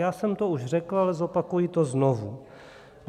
Já jsem to už řekl, ale zopakuji to znovu.